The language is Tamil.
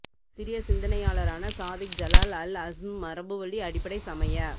சிரிய சிந்தனையாளரான சாதிக் ஜலால் அல் அஸ்ம் மரபுவழி அடிப்படை சமய